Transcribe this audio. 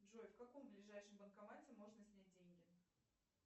джой в каком ближайшем банкомате можно снять деньги